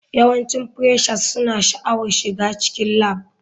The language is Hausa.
Yawancin freshers suna sha'awar shiga cikin lab.